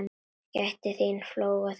Gættu þín á fóla þessum.